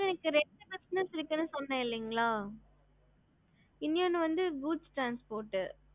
ஹம்